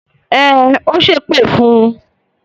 Ẹn, ó ṣépè fún un.